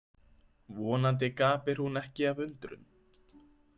Vonandi gapir hún ekki af undrun.